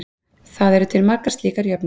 Það eru til margar slíkar jöfnur.